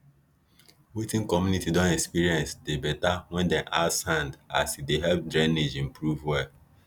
wetin community don experience dey better when dem add sand as e help drainage improve well